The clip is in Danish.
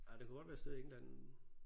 Ej det kunne godt være et sted i England